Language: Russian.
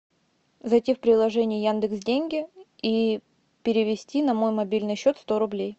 зайти в приложение яндекс деньги и перевести на мой мобильный счет сто рублей